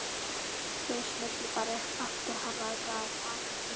Þau smullu bara upp aftur hann var glaðvakandi.